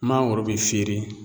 Mangoro bi feere